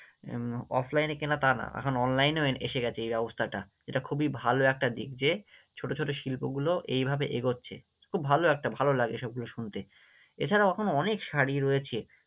উম Offline এ কেনা তা না, এখন online এও এসে গেছে এই ব্যবস্থাটা, এটা খুবই ভালো একটা দিক যে ছোটো ছোটো শিল্পগুলো এইভাবে এগোচ্ছে, খুব ভালো একটা ভালো লাগে এসব কিছু শুনতে, এছাড়াও এখনও অনেক শাড়ি রয়েছে।